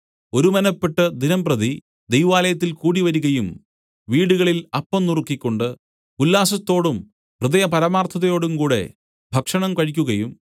ഒരുമനപ്പെട്ട് ദിനംപ്രതി ദൈവാലയത്തിൽ കൂടിവരികയും വീടുകളിൽ അപ്പം നുറുക്കിക്കൊണ്ട് ഉല്ലാസത്തോടും ഹൃദയപരമാർത്ഥതയോടും കൂടെ ഭക്ഷണം കഴിക്കുകയും